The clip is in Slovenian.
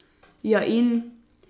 Ja in?